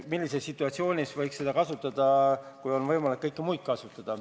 Millises situatsioonis võiks seda kasutada?